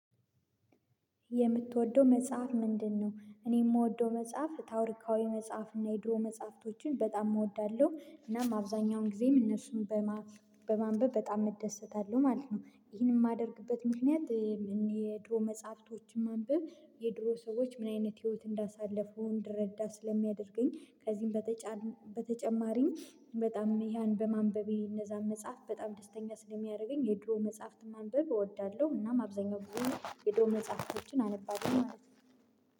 የምትወደው መጽሐፍ ምንድነው እኔ የምወደው መጽሐፍ ታውሪካዊ መጽሐፍ እና የድሮ መጽሐፍቶችን በጣም እወዳለሁ እናም አብዛኛውን ጊዜም እነሱን በማንበብ በጣም እደሰታለሁ ማለት ነ፤ ይህንን የማደርግበት ምክንያት የድሮ መጽሐፍቶችን ማንበብ የድሮ ሰዎች ምን አይነት ህይወት እንዳሳለፉ እንድረዳ ስለሚያደርገኝ ከዚህም በተጨማሪኝ በጣም ያን በማንበቤ እነዛን መጽሐፍ በጣም ደስተኛ ስለሚያደርገኝ የድሮ መጽሐፍት ማንበብ እወዳለሁ እናም አብዛኛው ብዙ የድሮ መጽሐፎችን አነባለሁ ማለት ነው።